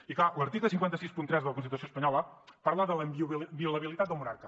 i clar l’article cinc cents i seixanta tres de la constitució espanyola parla de la inviolabilitat del monarca